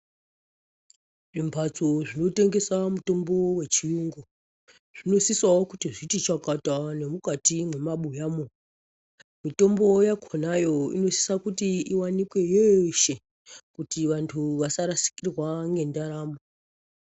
Zvimbatso zvinotengesa mitombo yechirungu zvinosisawo zviti chakata nemukati memabuyamwo mitombo yakonayo inosisa iwanikwe yeshe kuti vantu vasarasikirwa ngendaramo.